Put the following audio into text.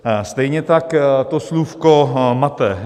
Stejně tak to slůvko mate.